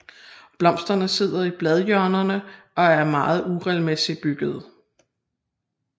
Blomsterne sidder i bladhjørnerne og er meget uregelmæssigt byggede